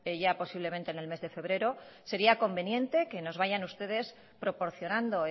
ya posiblemente en el mes de febrero sería conveniente que nos vayan ustedes proporcionando